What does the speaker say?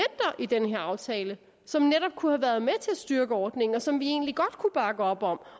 i den her aftale som netop kunne have været med til at styrke ordningen som vi egentlig godt kunne bakke op om